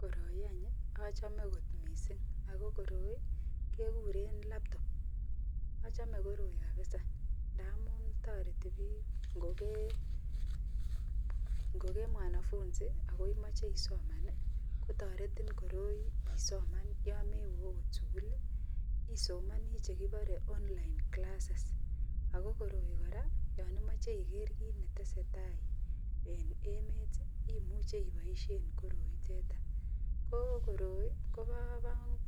Koroi achome kot mising akokoroi kekuren labtopachome koroi kabisa ntamun tareti bik ngogemwanafunsi akoimiche isoman kotaretin koroi isoman yamewe okot sukul isomani chekibare online classes akokoroi koraa yanimache Iger kit netesetai en emet imuche ibaishen koroi itetan ko koroi Koba